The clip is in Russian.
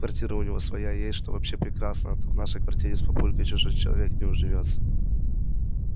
квартира у него своя есть что вообще прекрасно а то в нашей квартире с папулькой чужой человек не уживётся